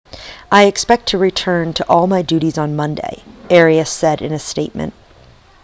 i expect to return to all my duties on monday arias said in a statement